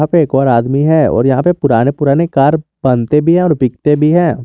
यहां पे एक और आदमी है और यहां पे पुराने पुराने कार बनते भी हैं और बिकते भी हैं।